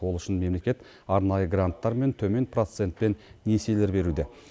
ол үшін мемлекет арнайы гранттар мен төмен процентпен несиелер беруде